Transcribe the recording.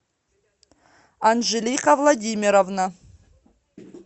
анжелика владимировна